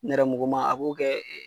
Nɛrɛmuguma a k'o kɛ .